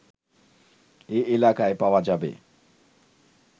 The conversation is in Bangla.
এই এলাকায় পাওয়া যাবে